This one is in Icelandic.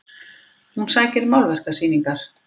Hún sækir málverkasýningar